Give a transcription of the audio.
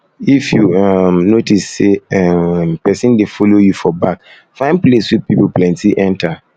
if you um notice say um pesin dey follow you for back find place wey pipo plenty enter um